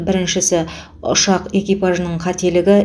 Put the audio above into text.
біріншісі ұшақ экипажының қателігі